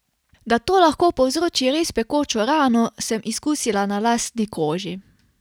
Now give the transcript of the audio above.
Da to lahko povzroči res pekočo rano, sem izkusila na lastni koži.